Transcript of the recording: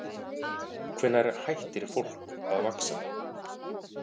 Hvenær hættir fólk að vaxa?